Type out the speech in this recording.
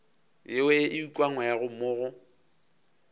yeo e ukangwego mo go